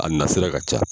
A na sira ka ca